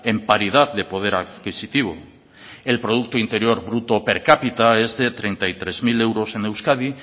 en paridad de poder adquisitivo el producto interior bruto per cápita es de treinta y tres mil euros en euskadi